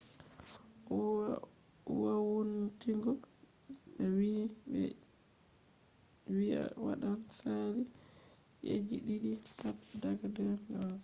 wowuntingo je be wi'i je ɓe wi'i waɗan sali ci'eji ɗiɗi pat daga 2011